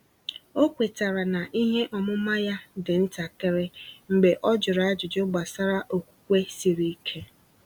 Ọ kwetara na ihe ọmụma ya dị ntakịrị mgbe ọ jụrụ ajụjụ gbasara okwukwe siri ike.